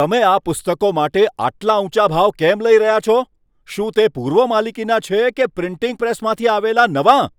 તમે આ પુસ્તકો માટે આટલા ઊંચા ભાવ કેમ લઈ રહ્યા છો? શું તે પૂર્વ માલિકીનાં છે કે પ્રિન્ટિંગ પ્રેસમાંથી આવેલાં નવાં?